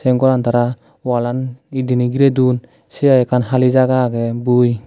eyen goran tara walan he diney girey duon sey hai ekkan hali jaga agey bui.